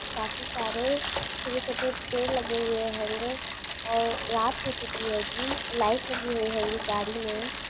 काफी सारे छोटे छोटे पेड़ लगे हुए है गे और रात हो चुकी है गी लाईट लगी है गी गाडी में।